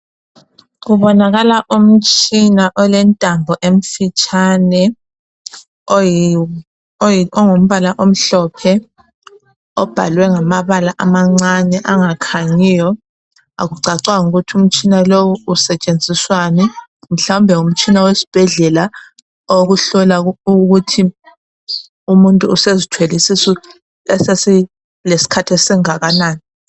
Kubonakala umtshina olentambo emfitshane ongumbala omhlophe obhalwe ngamabala amancane angakhanyiyo. Akucacanga ukuthi umtshina lowu usetshenziswani mhlawumbe ngumtshina wesibhedlela owokuhlola ukuthi umuntu usezithwele isisu esesilesikhathi esinganani.